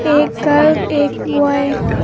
एक गर्ल एक बॉय ।